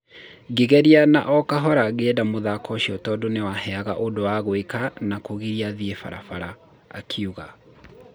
Ngĩgeria na o kahora ngĩenda mũthako ũcio tondũ nĩ waheaga ũndũ wa gwĩka na kũgiria thiĩ barabara,' akiuga.